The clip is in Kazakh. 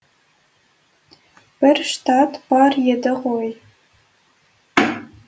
бір штат бар еді ғой